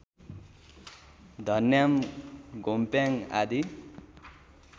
धन्याम् घोम्प्याङ आदि